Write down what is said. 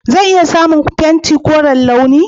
Zan iya samun fenti koren launi?